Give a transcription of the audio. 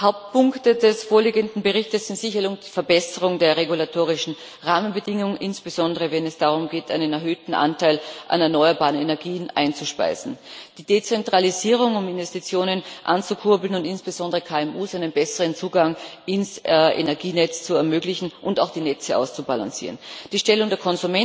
Hauptpunkte des vorliegenden Berichts sind sicherlich die Verbesserung der regulatorischen Rahmenbedingungen, insbesondere wenn es darum geht, einen erhöhten Anteil an erneuerbaren Energien einzuspeisen, die Dezentralisierung, um Investitionen anzukurbeln und insbesondere KMU einen besseren Zugang zum Energienetz zu ermöglichen und auch die Netze auszubalancieren, die Stellung der